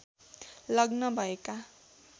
लग्न भएका